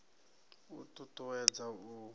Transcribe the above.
u t ut uwedza u